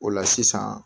O la sisan